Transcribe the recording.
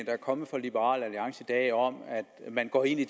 er kommet fra liberal alliance i dag om at man går ind i